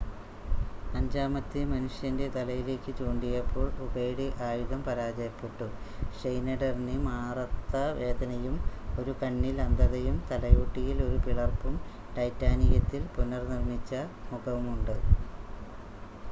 അഞ്ചാമത്തെ മനുഷ്യൻ്റെ തലയിലേക്ക് ചൂണ്ടിയപ്പോൾ ഉകയുടെ ആയുധം പരാജയപ്പെട്ടു ഷ്‌നെയിഡറിന് മാറത്ത വേദനയും ഒരു കണ്ണിൽ അന്ധതയും തലയോട്ടിയിൽ ഒരു പിളർപ്പും ടൈറ്റാനിയത്തിൽ പുനർനിർമ്മിച്ച മുഖവുമുണ്ട്